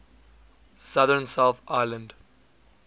southern south island